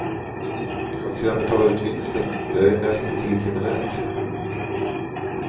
Att sedan betala ut vinsten, det är ju näst intill kriminellt.